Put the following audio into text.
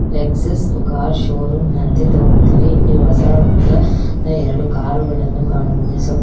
ಲಕ್ಷಸ್ car showroom ನಂತೆ ತೋರುತ್ತದೆ ಇಲ್ಲಿ ಹೊಸದ ಎರಡು ಕಾರ್ ಗಳನ್ನು ಗಮನಿಸಬ --